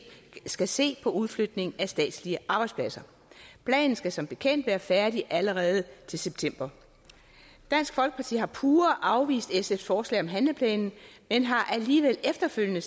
skal se på udflytning af statslige arbejdspladser planen skal som bekendt være færdig allerede til september dansk folkeparti har pure afvist sfs forslag om handleplanen men har alligevel efterfølgende